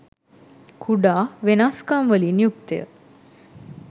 කුඩා වෙනස්කම් වලින් යුක්තය.